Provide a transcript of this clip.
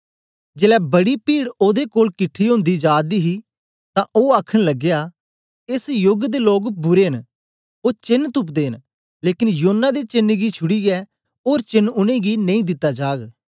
जेलै बड़ी ओदे कोल किठी ओंदी जा दी ही तां ओ आखन लगया एस योग दे लोक बुरे न ओ चेन तुप्दे न लेकन योना दे चेन्न गी छूडीयै ओर चेन्न उनेंगी नेई दिता जाग